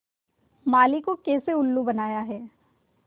माली को कैसे उल्लू बनाया है